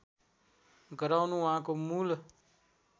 गराउनु उहाँको मूल